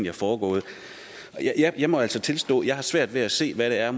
er foregået jeg må altså tilstå at jeg har svært ved at se hvad det er